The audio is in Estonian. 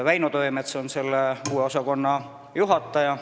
Väino Tõemets on selle uue osakonna juhataja.